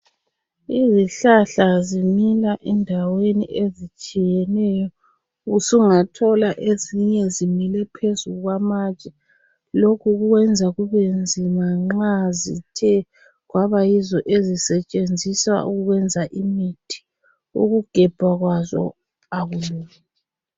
Izihlahla zimila endaweni ezitshiyeneyo. Usungathola ezinye zimile phezu kwamatshe. Lokhu kwenza kubenzima nxa zithe kwabayizo ezisetshenziswa ukwenza imithì ukugejwa kwazo akulula.